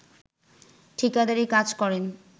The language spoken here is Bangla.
ঠিকাদারি কাজ করেন